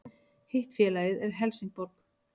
Hitt félagið er Helsingborg